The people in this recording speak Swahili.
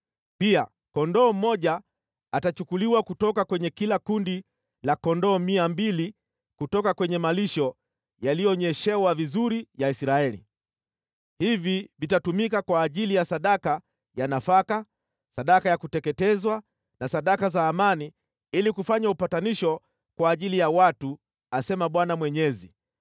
Pia kondoo mmoja atachukuliwa kutoka kwenye kila kundi la kondoo mia mbili kutoka kwenye malisho yaliyonyeshewa vizuri ya Israeli. Hivi vitatumika kwa ajili ya sadaka ya nafaka, sadaka ya kuteketezwa na sadaka za amani ili kufanya upatanisho kwa ajili ya watu, asema Bwana Mwenyezi.